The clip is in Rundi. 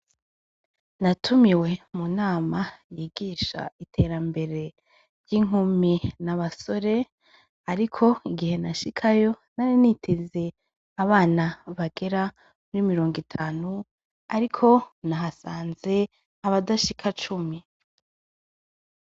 Natumiwe mu nama yigisha iterambere ry'inkumi nabasore, ariko igihe nashikayo narinitize abana bagera muri mirongo itanu, ariko nahasanze abadashika cumi.